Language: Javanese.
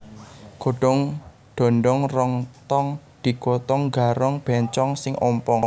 Godong dondong rong tong digotong garong bencong sing ompong